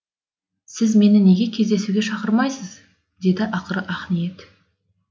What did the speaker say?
сіз мені неге кездесуге шақырмайсыз деді ақыры ақниет